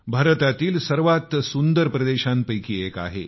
भारतातील सर्वात सुंदर प्रदेशांपैकी एक आहे